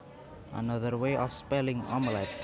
Another way of spelling omelette